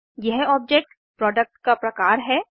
यह object product का प्रकार है